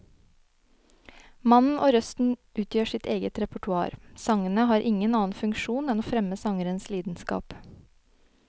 Mannen og røsten utgjør sitt eget repertoar, sangene har ingen annen funksjon enn å fremme sangerens lidenskap.